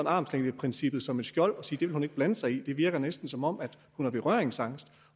armslængdeprincippet som et skjold og siger at hun ikke blande sig i det virker næsten som om hun er berøringsangst